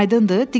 Aydındır?